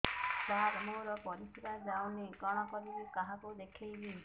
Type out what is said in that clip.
ସାର ମୋର ପରିସ୍ରା ଯାଉନି କଣ କରିବି କାହାକୁ ଦେଖେଇବି